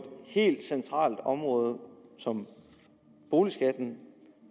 helt centralt område som boligskatten